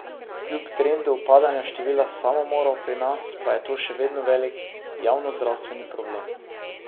Kljub trendu upadanja števila samomorov pri nas, pa je to še vedno velik javnozdravstveni problem.